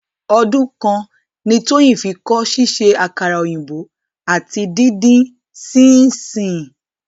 Ọdún kan ni Tóyìn fi kọ́ ṣíṣe àkàrà òyìnbó àti díndín sininsínìnnì.